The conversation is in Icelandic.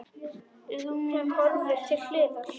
Hún hörfar til hliðar.